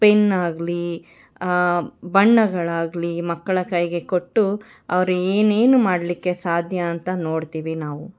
Pen ಆಗಲಿ ಬಣ್ಣಗಳಾಗಲಿ ಮಕ್ಕಳ ಕೈಗೆ ಕೊಟ್ಟು ಅವರೇನು ಮಾಡಲಿಕ್ಕೆ ಸಾಧ್ಯ ಅಂತ ನೋಡ್ತೀವಿ ನಾವು.